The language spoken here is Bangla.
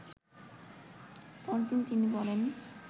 পরদিন তিনি বলেন